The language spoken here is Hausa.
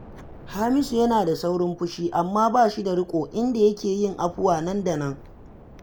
Hamisu yana da saurin fushi, amma ba shi da riƙo, inda yake yin afuwa nan da nan